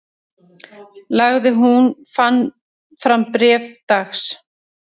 Lagði hún fram bréf dags